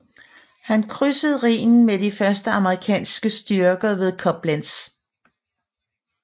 Han krydsede Rhinen med de første amerikanske styrker ved Koblenz